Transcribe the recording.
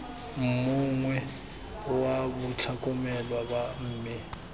mongwe wa batlhokomelwa ba me